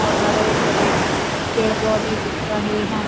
और हरे भरे पेड़-पौधे दिख रहे है।